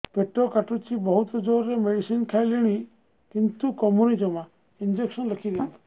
ପେଟ କାଟୁଛି ବହୁତ ଜୋରରେ ମେଡିସିନ ଖାଇଲିଣି କିନ୍ତୁ କମୁନି ଜମା ଇଂଜେକସନ ଲେଖିଦିଅନ୍ତୁ